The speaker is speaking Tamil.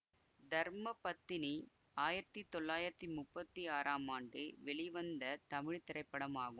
தர்ம பத்தினி ஆயிரத்தி தொள்ளாயிரத்தி முப்பத்தி ஆறாம் ஆண்டு வெளிவந்த தமிழ் திரைப்படமாகும்